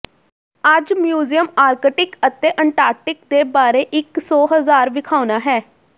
ਅੱਜ museum Arctic ਅਤੇ Antarctic ਦੇ ਬਾਰੇ ਇੱਕ ਸੌ ਹਜ਼ਾਰ ਵਿਖਾਉਣਾ ਹੈ